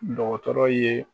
Dɔkɔtɔrɔ ye